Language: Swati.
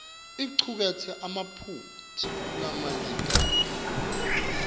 icuketse emaphutsa lamanyentana